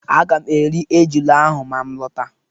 Aga m eri ejula ahụ ma m lọta.